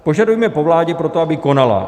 Požadujeme po vládě proto, aby konala.